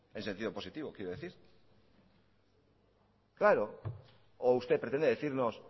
en sentido positivo quiero decir claro o usted pretende decirnos